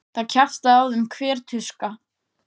Það kjaftaði á þeim hver tuska.